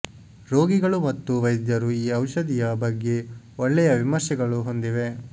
ರೋಗಿಗಳು ಮತ್ತು ವೈದ್ಯರು ಈ ಔಷಧಿಯ ಬಗ್ಗೆ ಒಳ್ಳೆಯ ವಿಮರ್ಶೆಗಳು ಹೊಂದಿವೆ